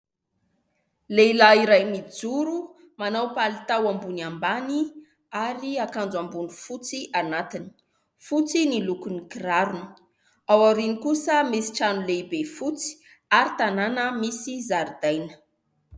Lehilahy iray mijoro, manao palitao ambony ambany ary akanjo ambony fotsy anatiny. Fotsy ny lokon'ny kirarony. Ao aoriany kosa misy trano lehibe fotsy ary tanàna misy zaridaina.